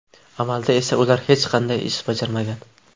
Amalda esa ular hech qanday ish bajarmagan.